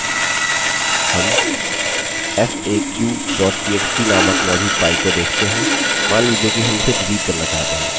हम faq txt नामक मौजूद file को देख सकते हैं मान लीजिए कि हम इसे डिलीट करना चाहते हैं